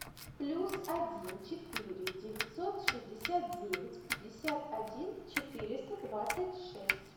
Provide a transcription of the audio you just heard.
плюс один четыре девятьсот шестьдесят девять пятьдесят один четыреста двадцать шесть